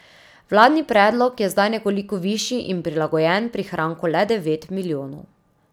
Vladni predlog je zdaj nekoliko višji in prilagojen prihranku le devet milijonov.